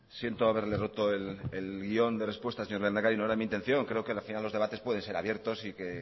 siento haberle roto el guión de respuestas señor lehendakari no era mi intención creo que al final los debates pueden ser abiertos y que